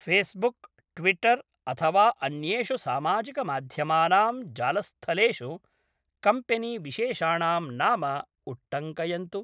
Facebook, Twitter, अथवा अन्येषु सामाजिकमाध्यमानां जालस्थलेषु कम्पेनीविशेषाणां नाम उट्टङ्कयन्तु।